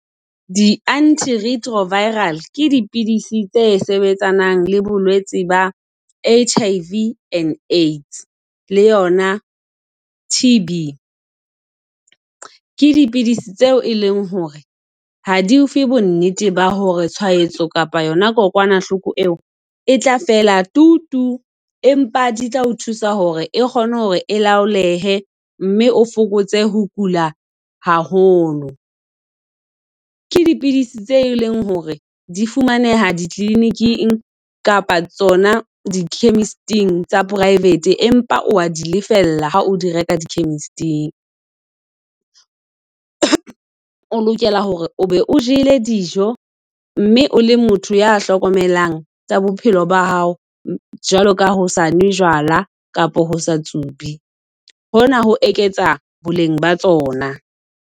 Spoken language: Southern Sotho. Di-antiretroviral ke dipidisi tse sebetsanang le bolwetsi ba HIV and AIDS le yona TB. Ke dipidisi tseo e leng hore ha di ofe, bo nnete ba hore tshwahetso kapa yona kokwanahloko eo e tla fela tutu. Empa di tla o thusa hore e kgone hore e laolehe, mme o fokotse ho kula haholo. Ke dipidisi tse e leng hore di fumaneha dikliniking kapa tsona di-chemist-ing tsa private. Empa wa di lefella ha o di reka di-chemist-ing. O lokela hore o be o jele dijo, mme o le motho ya hlokomelang tsa bophelo ba hao. Jwalo ka ho sanwe jwala kapa ho sa tsube. Hona ho eketsa boleng ba tsona.